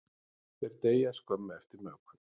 Þeir deyja skömmu eftir mökun.